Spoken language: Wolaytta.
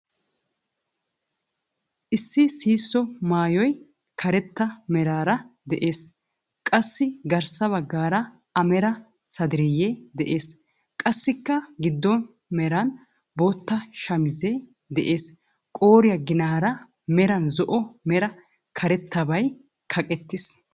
Issi sihisso maayoy karetta meraara de'ees. Qassi garssa baggaara a mera sadariiyyee de'ees. Qassikka giddon meran bootta shamiisee de'ees. Qooriyaa ginaara meran zo"o mera karabaatay kaqettiis.